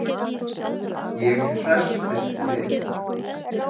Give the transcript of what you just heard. Ég hresstist við.